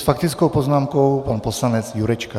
S faktickou poznámkou pan poslanec Jurečka.